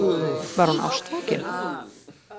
Var hún ástfangin?